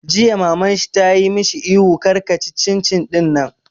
Jiya Maman shi ta yi mishi ihu 'kar ka ci cin cin ɗinnan!